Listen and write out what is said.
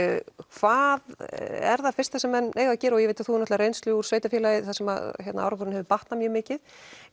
hvað er það fyrsta sem menn eiga að gera og ég veit að þú hefur reynslu úr sveitarfélagi þar sem árangurinn hefur batnað mjög mikið